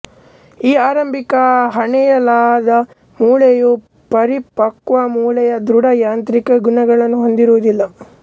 ಈ ಆರಂಭಿಕ ಹೆಣೆಯಲಾದ ಮೂಳೆಯು ಪರಿಪಕ್ವಮೂಳೆಯ ದೃಢ ಯಾಂತ್ರಿಕ ಗುಣಗಳನ್ನು ಹೊಂದಿರುವುದಿಲ್ಲ